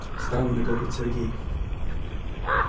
странно говорит сергей